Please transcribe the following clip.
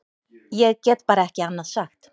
Ég get bara ekki annað sagt.